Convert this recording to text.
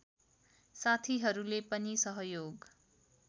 साथीहरूले पनि सहयोग